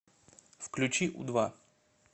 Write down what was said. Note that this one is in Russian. включи у два